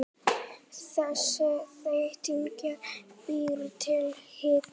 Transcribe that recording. Þessi þétting býr til hita.